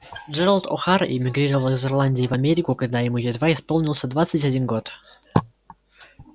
джералд охара эмигрировал из ирландии в америку когда ему едва исполнился двадцать один год